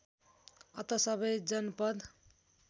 अत सबै जनपद